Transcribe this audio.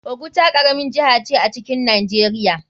Oguta karamin jiha ce a cikin nijeria.